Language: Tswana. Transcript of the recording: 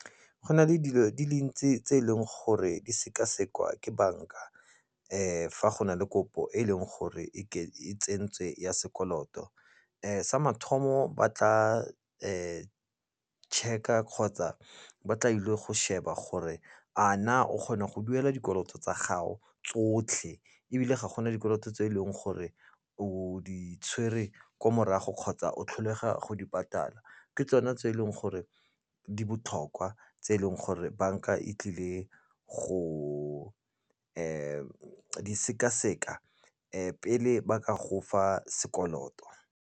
Go na le dilo di dintsi tse eleng gore di sekasekwa ke bank-a fa go na le kopo e leng gore e tsentswe ya sekoloto sa mathomo ba tla check-a kgotsa ba tla ile go sheba gore a na o kgona go duela dikoloto tsa gago tsotlhe ebile ga gona dikoloto tse e leng gore o di tshwere ko morago kgotsa o tlholega go di patala ke tsone tse eleng gore di botlhokwa tse eleng gore bank-a e tlile go di sekaseka pele ba ka gofa sekoloto.